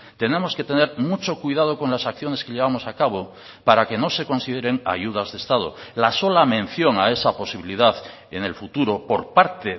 tenemos que tener mucho cuidado con las acciones que llevamos a cabo para que no se consideren ayudas de estado la sola mención a esa posibilidad en el futuro por parte